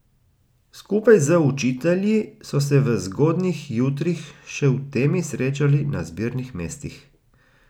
Skupaj z učitelji so se v zgodnjih jutrih še v temi srečali na zbirnih mestih.